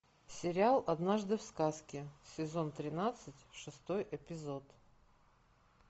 сериал однажды в сказке сезон тринадцать шестой эпизод